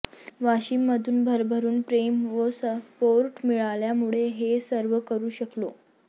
वाशीममधून भरभरून प्रेम व सपोर्ट मिळाल्यामुळे हे सर्व करू शकलो